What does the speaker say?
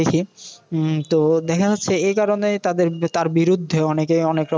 উম তো দেখা যাচ্ছে এই কারণে তাদের তার বিরুদ্ধে অনেকে অনেকরকম